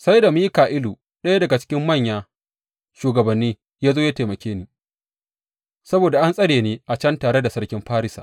Sai da Mika’ilu, ɗaya daga cikin manya shugabanni, ya zo ya taimake ni, saboda an tsare ni a can tare da sarkin Farisa.